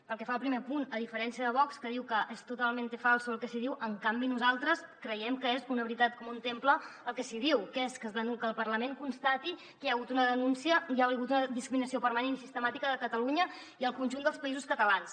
pel que fa al primer punt a diferència de vox que diu que és totalmente falso el que s’hi diu en canvi nosaltres creiem que és una veritat com un temple el que s’hi diu que és que el parlament constati que hi ha hagut una denúncia hi ha hagut una discriminació permanent i sistemàtica de catalunya i el conjunt dels països catalans